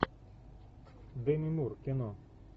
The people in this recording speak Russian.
деми мур кино